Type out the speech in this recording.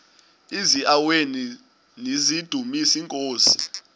eziaweni nizidumis iinkosi